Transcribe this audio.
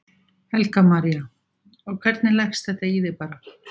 Helga María: Og hvernig leggst þetta í þig bara?